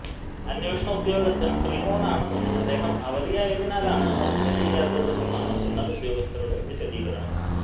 അന്വേഷണ ഉദ്യോഗസ്ഥന് ശ്രീമോനാണെന്നും അദ്ദേഹം അവധിയായതിനാലാണ് അറസ്റ്റ് ചെയ്യാത്തതെന്നുമാണ് ഉന്നത ഉദ്യോഗസ്ഥരുടെ വിശദീകരണം